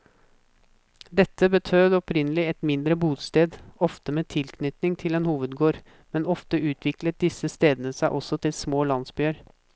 Dette betød opprinnelig et mindre bosted, ofte med tilknytning til en hovedgård, men ofte utviklet disse stedene seg også til små landsbyer.